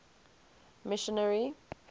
missionary